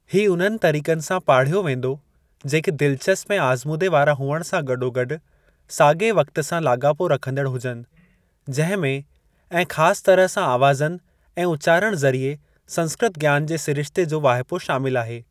ही उन्हनि तरीक़नि सां पाढ़ियो वेंदो, जेके दिलचस्प ऐं आज़मूदे वारा हुअण सां गॾोगॾु साॻिए वक़्ति सां लाॻापो रखंदड़ हुजनि, जंहिं में ऐं ख़ासि तरह सां आवाज़नि ऐं उचारण ज़रिए संस्कृत ज्ञान जे सिरिश्ते जो वाहिपो शामिल आहे।